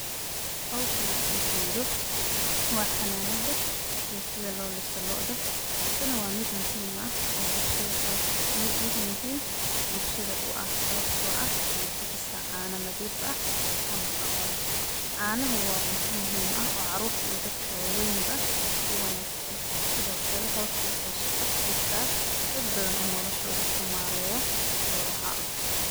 Howshan aan ujedho waa xananadha iyo sidha loo liso looda, tani waa mid muhim bulshadha uah sababto ah waxey bixisa caano nadhif ah oo nafaqo leh. canahu waa cunto muhim ah oo carurta iyo dadku waweyn baa uwanagsan sidho kale howsho waxey shaqo siisaa dad badhan oo naftodha kamareyo xolaha.